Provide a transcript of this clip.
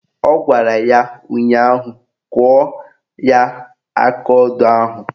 Ọ gwara ya ụnyaahụ "Kụọ ya akaodo ahụ"!